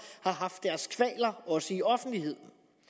har haft deres kvaler også i offentligheden